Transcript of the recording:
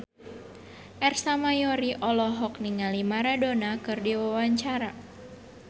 Ersa Mayori olohok ningali Maradona keur diwawancara